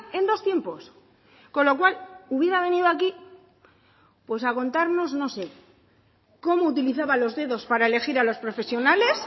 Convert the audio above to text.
en dos tiempos con lo cual hubiera venido aquí pues a contarnos no sé cómo utilizaba los dedos para elegir a los profesionales